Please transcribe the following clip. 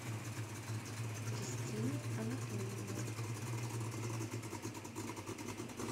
кристине анатольевне